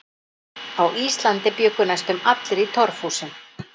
Á Íslandi bjuggu næstum allir í torfhúsum.